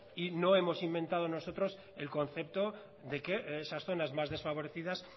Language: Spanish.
y no hemos inventado nosotros el concepto de que esas zonas más desfavorecidas